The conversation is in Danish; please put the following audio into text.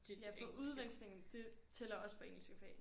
Ja fordi udveksling det tæller også for engelske fag